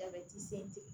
A bɛ t'i sen ten